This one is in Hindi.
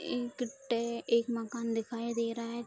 एक टे एक माकन दिखाई दे रहा है।